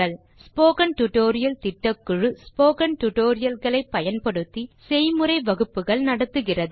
spoken tutorial திட்டக்குழு spoken tutorial களை பயன்படுத்தி செய்முறை வகுப்புகள் நடத்துகிறது